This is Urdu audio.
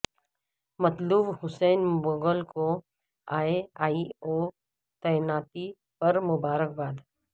مطلوب حسین مغل کو اے ای او تعیناتی پر مبارکباد